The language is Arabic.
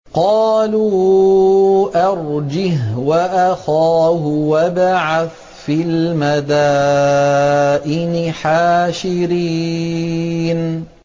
قَالُوا أَرْجِهْ وَأَخَاهُ وَابْعَثْ فِي الْمَدَائِنِ حَاشِرِينَ